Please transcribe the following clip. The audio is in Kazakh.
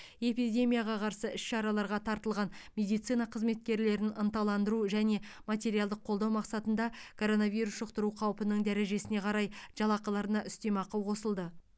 эпидемияға қарсы іс шараларға тартылған медицина қызметкерлерін ынталандыру және материалдық қолдау мақсатында коронавирус жұқтыру қаупінің дәрежесіне қарай жалақыларына үстемақы қосылды